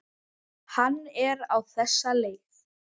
Hann er á þessa leið